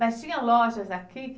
Mas tinha lojas aqui?